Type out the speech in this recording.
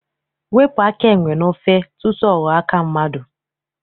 Wepụ aka enwe n'ofe tutu ọ ghọọ aka mmadụ!